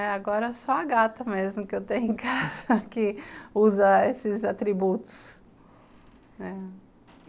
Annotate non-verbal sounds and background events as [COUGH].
É, agora é só a gata mesmo que eu tenho em [LAUGHS] casa, que usa esses atributos, né.